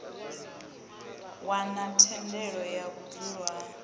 wana thendelo ya vhudzulo ha